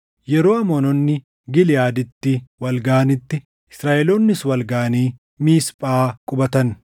Yeroo Amoononni Giliʼaaditti wal gaʼanitti Israaʼeloonnis wal gaʼanii Miisphaa qubatan.